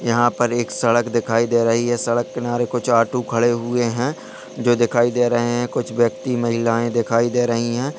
यहा पर एक सड़क दिखाई दे रही है सड़क किनारे कुछ ऑटो खड़े हुए है जो दिखाई दे रहे है कुछ व्यक्ति महिलायें दिखाई दे रही है।